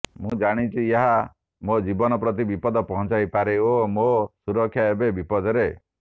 ମୁଁ ଜାଣିଛି ଏହା ମୋ ଜୀବନ ପ୍ରତି ବିପଦ ପହଞ୍ଚାଇପାରେ ଓ ମୋ ସୁରକ୍ଷା ଏବେ ବିପଦରେ